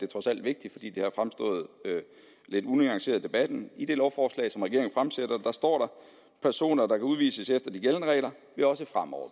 trods alt vigtigt fordi det har fremstået lidt unuanceret i debatten i det lovforslag som regeringen fremsætter står der personer der kan udvises efter de gældende regler vil også fremover